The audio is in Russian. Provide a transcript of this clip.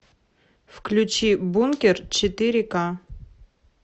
включи бункер четыре ка